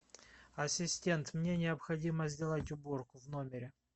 ассистент мне необходимо сделать уборку в номере